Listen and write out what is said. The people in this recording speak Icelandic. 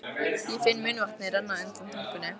Ég finn munnvatnið renna undan tungunni.